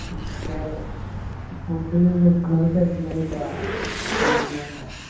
Food food വെക്കണത് തെകയുന്നില്ല പിന്നെ